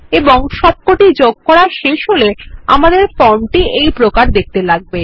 এবং সবকটি যোগ করা শেষ হলে আমাদের ফর্মটি এইরকম দেখতে লাগবে